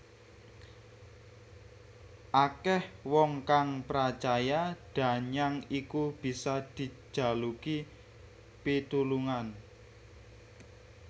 Akeh wong kang pracaya danyang iku bisa dijaluki pitulungan